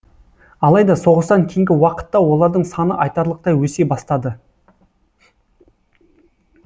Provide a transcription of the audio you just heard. алайда соғыстан кейінгі уақытта олардың саны айтарлықтай өсе бастады